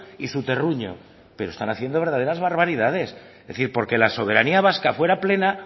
y su terruño pero están haciendo verdaderas barbaridades es decir porque la soberanía vasca fuera plena